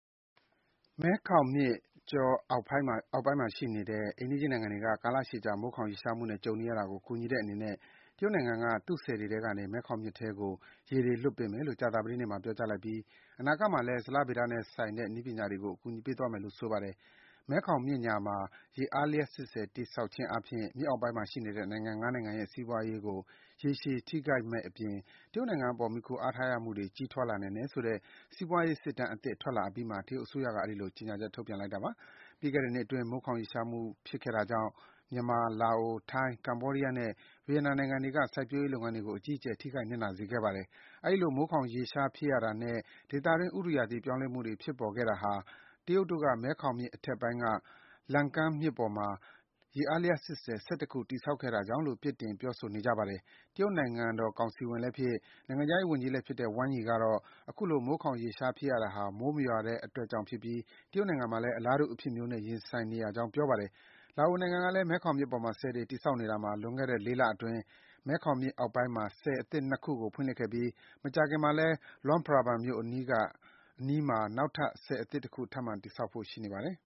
မဲခေါင်မြစ်ကြောအောက်ဘက်ပိုင်းမှာရှိနေတဲ့ အိမ်နီးချင်းနိုင်ငံတွေမှာ ကာလရှည်ကြာ မိုးခေါင်ရေရှားမှုနဲ့ ကြုံနေရတာကို ကူညီတဲ့အနေနဲ့ တရုတ်နိုင်ငံက သူ့ဆည်တွေထဲကနေ မဲခေါင်မြစ်ထဲကို ရေတွေ လွတ်ပေးမယ်လို့ ကြာသပတေးနေ့မှာ ပြောကြားလိုက်ပြီး အနာဂတ်မှာလည်း ဇလဗေဒနဲ့ဆိုင်တဲ့ နည်းပညာတွေကို အကူအညီပေးသွားမယ်လို့ ဆိုပါတယ်။ မဲခေါင်မြစ်ညာမှာ ရေအားလျှပ်စစ်ဆည်တည်ဆောက်ခြင်းအားဖြင့် မြစ်အောက်ပိုင်းမှာရှိနေတဲ့ နိုင်ငံ ၅ နိုင်ငံရဲ့ စီးပွားရေးကို ရေရှည် ထိခိုက်မယ့်အပြင် တရုတ်နိုင်ငံအပေါ် မှီခိုအားထားရမှုတွေ ကြီးထွားလာနိုင်တယ်ဆိုတဲ့ စီးပွားရေးစစ်တမ်းအသစ် ထွက်လာအပြီးမှာ တရုတ်အစိုးရက အဲဒီလို ကြေညာချက် ထုတ်ပြန်လိုက်တာပါ။ ပြီးခဲ့တဲ့နှစ်အတွင်း မိုးခေါင်ရေရှားမှု ဖြစ်ခဲ့တာကြောင့် မြန်မာ၊ လာအို၊ ထိုင်း၊ ကမ္ဘောဒီးယားနဲ့ ဗီယက်နမ်နိုင်ငံတွေက စိုက်ပျိုးလုပ်ငန်းတွေကို အကြီးအကျယ် ထိခိုက်နစ်နာစေခဲ့ပါတယ်။ အဲဒီလို မိုးခေါင်ရေရှားဖြစ်ရတာနဲ့ ဒေသတွင်း ဥတုရာသီ ပြောင်းလဲမှုတွေ ဖြစ်ပေါ်ခဲ့တာဟာ တရုတ်တို့က မဲခေါင်မြစ်အထက်ပိုင်းက Lancang မြစ်ပေါ်မှာ ရေအားလျှပ်စစ်ဆည် ၁၁ ခု တည်ဆောက်ခဲ့တာကြောင့်လို့ အပြစ်တင် ပြောဆိုနေကြပါတယ်။ တရုတ်နိုင်ငံတော်ကောင်စီဝင်လည်းဖြစ်၊ နိုင်ငံခြားရေးဝန်ကြီးလည်းဖြစ်တဲ့ Wang Yi ကတော့ အခုလို မိုးခေါင်ရေရှား ဖြစ်ရတာဟာ မိုးမရွာတဲ့အတွက်ကြောင့်ဖြစ်ပြီး တရုတ်နိုင်ငံမှာလည်း အလားတူ အဖြစ်မျိုး ရင်ဆိုင်နေရကြောင်း ပြောပါတယ်။ လာအိုနိုင်ငံကလည်း မဲခေါင်မြစ်ပေါ်မှာ ဆည်တွေ တည်ဆောက်နေတာမှာ လွန်ခဲ့တဲ့ ၄ လအတွင်း မဲခေါင်မြစ်အောက်ပိုင်းမှာ ဆည်အသစ် ၂ ခုကို ဖွင့်လှစ်ခဲ့ပြီး မကြာခင်မှာလည်း Luang Prabang မြို့အနီးမှာ နောက်ထပ် ဆည်အသစ်တခု ထပ်မံ တည်ဆောက်ဖို့ ရှိနေပါတယ်